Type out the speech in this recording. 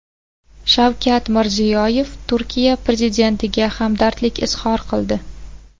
Shavkat Mirziyoyev Turkiya prezidentiga hamdardlik izhor qildi .